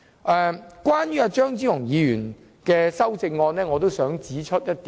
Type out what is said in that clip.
我想就張超雄議員的修正案指出一點。